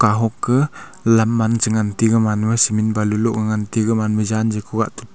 lam man che ngan te gaman ma cement loh ga ngan te gaman ma jan je khogah te tega.